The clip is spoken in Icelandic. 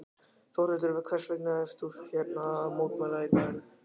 Þórhildur: Hvers vegna ert þú hérna að mótmæla í dag?